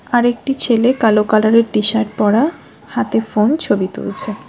আরেকটি ছেলে কালো কালারের টি-শার্ট পরা হাতে ফোন ছবি তুলছে।